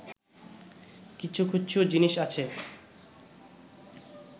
কিছু কিছু জিনিস আছে